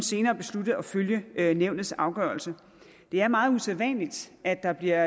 senere besluttet at følge nævnets afgørelse det er meget usædvanligt at der bliver